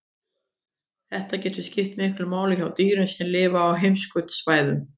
Þetta getur skipt miklu hjá dýrum sem lifa á heimskautasvæðunum.